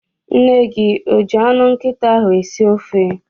Nne gị o ji anụ nkịta ahụ esi ofe?